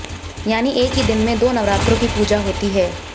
यानी एक ही दिन में दो नवरात्रों की पूजा होती है